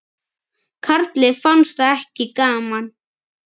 Karli fannst það ekki gaman.